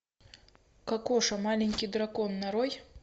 кокоша маленький дракон нарой